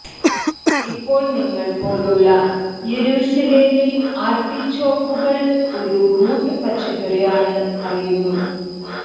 ഇപ്പോൾ നിങ്ങൾ പോലുള്ള യെരൂശലേമിൽ ആർട്ടിച്ചോക്കുകൾ ഒരു റൂട്ട് പച്ചക്കറി ആണ് അറിയുന്നു